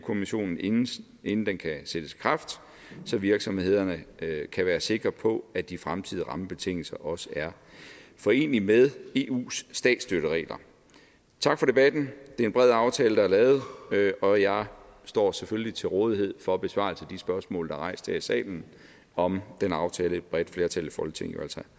kommissionen inden inden den kan sættes i kraft så virksomhederne kan være sikre på at de fremtidige rammebetingelser også er forenelige med eus statsstøtteregler tak for debatten det er en bred aftale der er lavet og jeg står selvfølgelig til rådighed for besvarelse af de spørgsmål der er rejst her i salen om den aftale et bredt flertal i folketinget jo altså